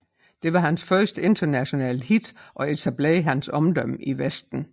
Det var hans første internationale hit og etablerede hans omdømme i Vesten